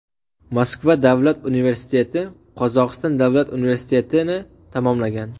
Moskva davlat universiteti, Qozog‘iston davlat universitetini tamomlagan.